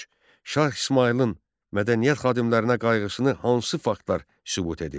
Üç. Şah İsmayılın mədəniyyət xadimlərinə qayğısını hansı faktlar sübut edir?